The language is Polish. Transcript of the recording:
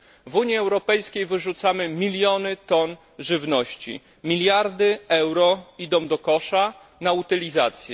W Unii Europejskiej wyrzucamy miliony ton żywności, miliardy euro idą do kosza na utylizację.